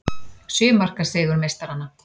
Sjö marka sigur meistaranna